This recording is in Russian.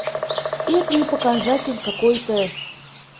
это не показатель какой-то